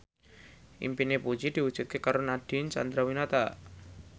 impine Puji diwujudke karo Nadine Chandrawinata